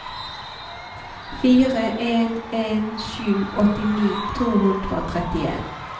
fire en en sju åttini to hundre og trettien